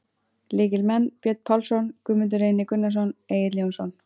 Lykilmenn: Björn Pálsson, Guðmundur Reynir Gunnarsson, Egill Jónsson.